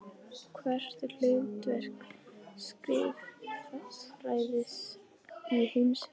Og hvert er hlutverk skrifræðis í heimsfriði?